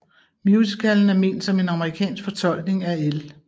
Musicallen er ment som en amerikansk fortolkning af L